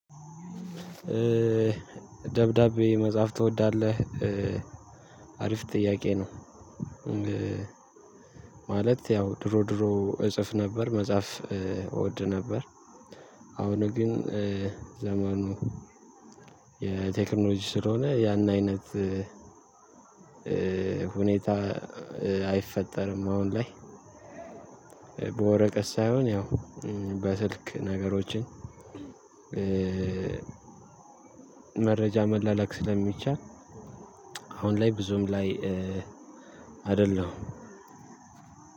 ደብዳቤ መጻፍ ትወዳለህ? አሪፍ ጥያቄ ነው። ማለት ያው ድሮ ድሮ እጽፍ ነበር። መጽሐፍ እወድ ነበር። አሁን ግን ዘመኑ የቴክኖሎጂ ስለሆነ፤ ያን አይነት ሁኔታ አይፈጠርም አሁን ላይ፤ በወረቀት ሳይሆን ያው በስልክ ነገሮችን መረጃ መላላክ ስለሚቻል፤ አሁን ላይ ብዙም ላይ